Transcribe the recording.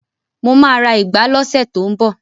Mo ma ra ìgbá lọ́sẹ̀ tó ń bọ̀